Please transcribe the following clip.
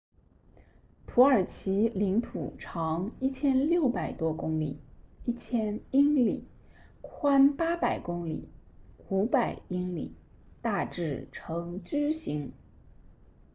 土耳其领土长 1,600 多公里 1,000 英里宽800公里500英里大致呈矩形